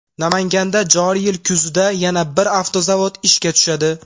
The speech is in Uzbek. Namanganda joriy yil kuzida yana bir avtozavod ishga tushadi .